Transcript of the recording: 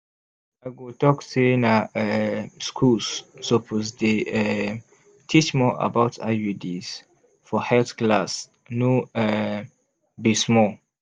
i go talk say na um schools suppose dey um teach more about iuds for health class no um be small